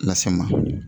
Lase n ma